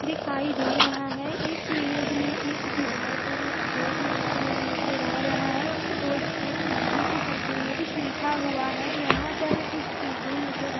दिखाई दे रहा है। इस इमेज़ में एक दीवार पर एक बोर्ड लगा हुआ नज़र आ रहा है। उस बोर्ड पर हिंदी के शब्दों में कुछ लिखा हुआ है। यहाँ पर कुछ चीजे नज़र --